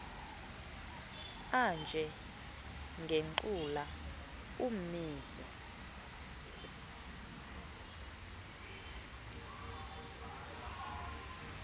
anje ngengqula ummizo